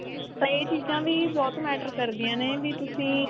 ਤਾਂ ਇਹ ਚੀਜ਼ਾ ਵੀ ਬਹੁਤ matter ਕਰਦੀਆਂ ਨੇ ਵੀ ਤੁਸੀਂ